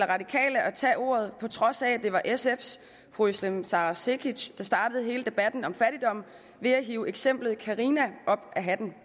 radikale at tage ordet på trods af at det var sfs fru özlem sara cekic der startede hele debatten om fattigdom ved at hive eksemplet carina op af hatten